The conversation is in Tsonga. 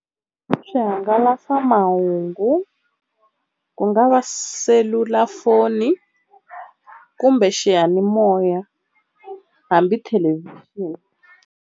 Swihangalasamahungu ku nga va selulafoni kumbe xiyanimoya hambi thelevhixini.